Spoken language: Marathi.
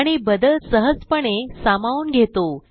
आणि बदल सहजपणे सामावून घेतो